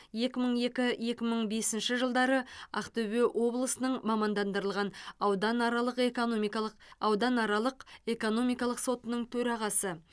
екі мың екі екі мың бесінші жылдары ақтөбе облысының мамандандырылған ауданаралық экономикалық ауданаралық экономикалық сотының төрағасы